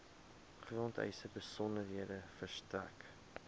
grondeise besonderhede verstrek